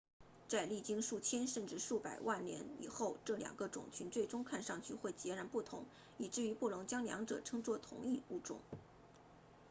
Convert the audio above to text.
在历经数千甚至数百万年以后这两个种群最终看上去会截然不同以致于不能将两者称作同一物种